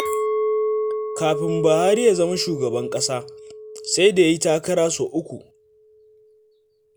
Kafin Buhari ya zama shugaban ƙasa, sai da ya yi takara sau uku.